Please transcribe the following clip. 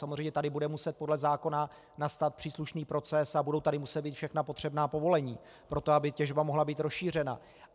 Samozřejmě tady bude muset podle zákona nastat příslušný proces a budou tady muset být všechna potřebná povolení pro to, aby těžba mohla být rozšířena.